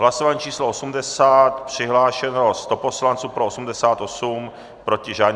Hlasování číslo 80, přihlášeno 100 poslanců, pro 88, proti žádný.